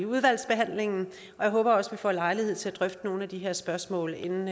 udvalgsbehandlingen og jeg håber også får lejlighed til at drøfte nogle af de her spørgsmål inden